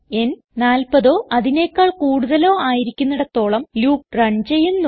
n 40ഓ അതിനെക്കാൾ കൂടുതലോ ആയിരിക്കുന്നിടത്തോളം ലൂപ്പ് റൺ ചെയ്യുന്നു